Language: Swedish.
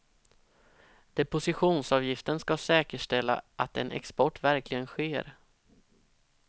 Depositionsavgiften ska säkerställa att en export verkligen sker.